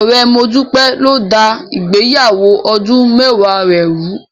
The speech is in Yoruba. Ọ̀rẹ́ Modúpẹ́ ló dá ìgbéyàwó ọdún mẹ́wàá rẹ̀ rùú.